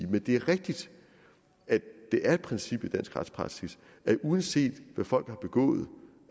men det er rigtigt at det er et princip i dansk retspraksis at uanset hvad folk har begået